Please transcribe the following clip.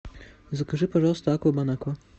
закажи пожалуйста аква бон аква